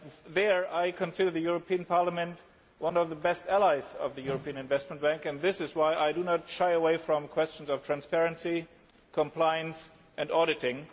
Here I consider this Parliament to be one of the best allies of the European Investment Bank and this is why I do not shy away from questions of transparency, compliance and auditing.